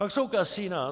Pak jsou kasina.